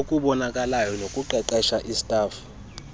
obubonakalayo bokuqeqesha istafu